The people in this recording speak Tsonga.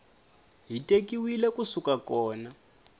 ti tekiwile ku suka kona